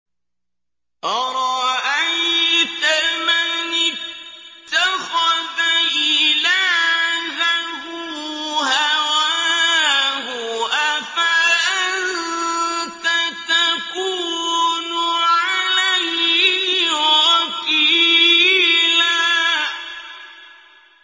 أَرَأَيْتَ مَنِ اتَّخَذَ إِلَٰهَهُ هَوَاهُ أَفَأَنتَ تَكُونُ عَلَيْهِ وَكِيلًا